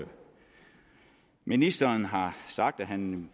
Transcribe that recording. ministeren har sagt at han